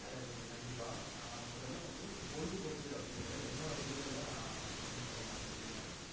சரி உங்களுக்கு கண்டிப்பா. நா முதல வந்து பொழுதுபோக்கு அபடினுரத எனோட புரிதல்ல நா என்னன்னுரத நா சொலிடுரன்.